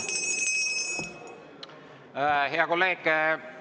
Hea kolleeg!